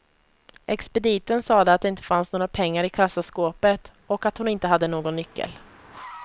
Expediten sade att det inte fanns några pengar i kassaskåpet, och att hon inte hade någon nyckel.